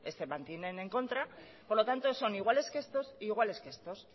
se mantienen en contra por lo tanto son iguales que estos e iguales que estos